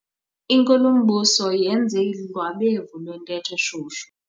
Inkulumbuso yenze udlwabevu lwentetho eshushu.